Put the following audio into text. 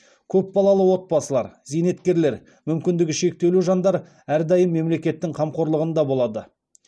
көп балалы отбасылар зейнеткерлер мүмкіндігі шектеулі жандар әрдайым мемлекеттің қамқорлығында болады